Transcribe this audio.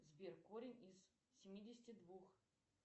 сбер корень из семидесяти двух